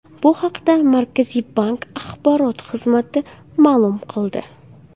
Bu haqda Markaziy bank axborot xizmati ma’lum qildi .